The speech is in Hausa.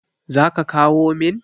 zaka kawo min?